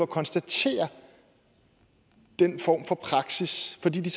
konstatere den form for praksis fordi de